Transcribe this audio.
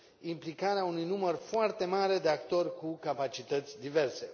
implicarea unui număr foarte mare de actori cu capacități diverse.